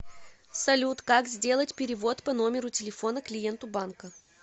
салют как сделать перевод по номеру телефона клиенту банка